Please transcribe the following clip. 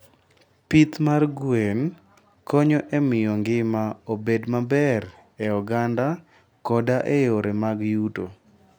Pith mag gwen konyo e miyo ngima obed maber e oganda koda e yore mag yuto.